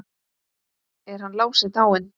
Er hann Lási dáinn?